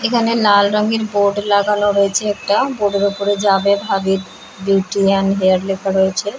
এখানে লাল রঙের বোর্ড লাগানো রয়েছে একটা | বোর্ড -এর ওপরে Javed Habib beauty and hair লেখা রয়েছে ।